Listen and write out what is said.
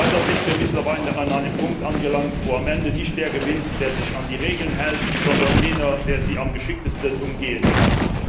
Leider sind wir mittlerweile an einem Punkt angelangt, wo am Ende nicht der gewinnt, der sich an die Regeln hält, sondern jener, der sie am geschicktesten umgehen kann.